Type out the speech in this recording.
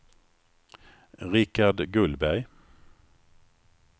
Richard Gullberg